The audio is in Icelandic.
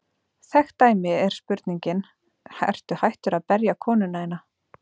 Þekkt dæmi er spurningin: Ertu hættur að berja konuna þína?